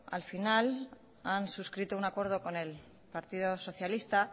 al final han suscrito un acuerdo con el partido socialista